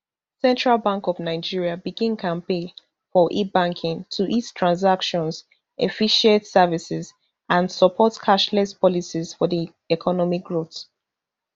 central bank of nigeria begin campaign for ebanking to ease transactions efficient services and support cashless policies for di economic growth